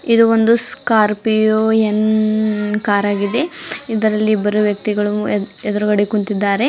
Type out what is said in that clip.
ಇದು ಒಂದು ಸ್ಕಾರ್ಪಿಯೋ ಏನ್ ಕಾರ್ ಆಗಿದೆ ಇದರಲ್ಲಿ ಇಬ್ಬರು ವ್ಯಕ್ತಿಗಳು ಎ ಎದುರಗಡೆ ಕುಂಟಿದ್ದಾರೆ.